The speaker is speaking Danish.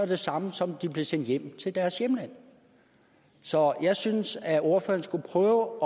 det samme som at de blev sendt hjem til deres hjemland så jeg synes at ordføreren skulle prøve